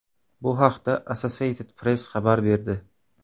Bu haqda Associated Press xabar berdi .